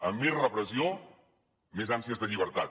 a més repressió més ànsies de llibertat